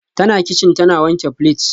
Tana kicin tana wanke plates